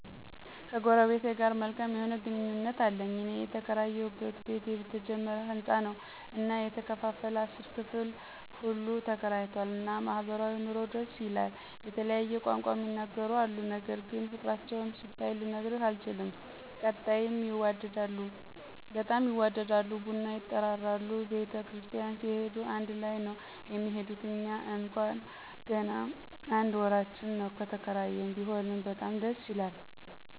ከጎረቢቴ ጋር መልካም የሆነ ግንኙነት አለኝ። እኔ የተከራየሁበት ቤት የተጀመረ ሀንጻ ነው እና የተከፋፈለ 10 ክፍሉ ሁሉ ተከራይቷል እና ማኅበራዊ ኑሮው ደስ ይላል የተለያየ ቋንቋ ሚናገሩ አሉ ነገር ግን ፍቅራቸውን ስታይ ልነግርህ አልችልም ቀጣም ይዋደዳሉ። ቡና ይጠራራሉ ቤተ ክርስቲያን ሲሄዱ አንድ ላይ ነው የሚሄዱት። እኛ እንኳን ገና አንድ ወራችን ነው ከተከራየን፤ ቢሆንም በጣም ደስ ይላል